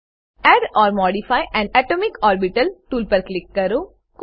add or modify an atomic orbital tool પર click કરો